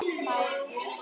Þær urðu